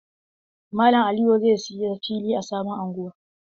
Malam Aliyu zai saya fili a sabon unguwa.